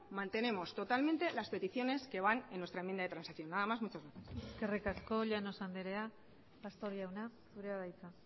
mantenemos totalmente las peticiones que van en nuestra enmienda de transacción nada más muchas gracias eskerrik asko llanos andrea pastor jauna zurea da hitza